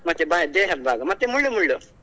ಮತ್ತೆ ಬಾಯಿ ದೇಹದ ಭಾಗ ಮತ್ತೆ ಮುಳ್ಳು ಮುಳ್ಳು.